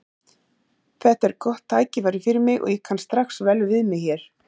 Þetta er gott tækifæri fyrir mig og ég kann strax vel við mig hér.